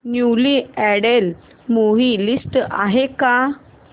newly added movie list आहे का